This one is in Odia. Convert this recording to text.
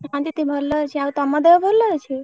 ହଁ ଦିଦି ଭଲ ଅଛି ଆଉ ତମ ଦେହ ଭଲ ଅଛି?